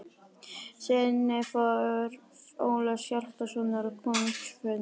SEINNI FÖR ÓLAFS HJALTASONAR Á KONUNGSFUND